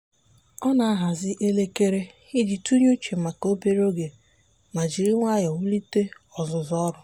ọ na-ahazị elekere iji tinye uche maka obere oge ma jiri nwayọọ wulite ọzụzụ ọrụ.